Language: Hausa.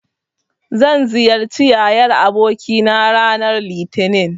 Zan ziyarci yayar abokina ranar Litinin.